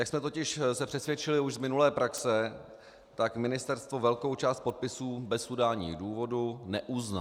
Jak jsme se totiž přesvědčili už z minulé praxe, tak ministerstvo velkou část podpisů bez udání důvodů neuzná.